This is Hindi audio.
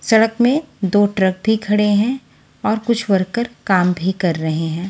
सड़क में दो ट्रक भी खड़े हैं और कुछ वर्कर काम भी कर रहे हैं।